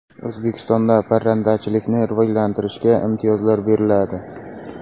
O‘zbekistonda parrandachilikni rivojlantirishga imtiyozlar beriladi.